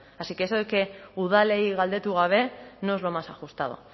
así que eso de que udalei galdetu gabe no es lo más ajustado